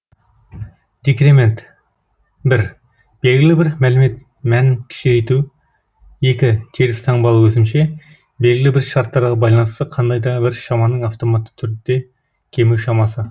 декремент бір белгілі бір мәлімет мәнін кішірейту екі теріс таңбалы өсімше белгілі бір шарттарға байланысты қандай да бір шаманың автоматты түрде кему шамасы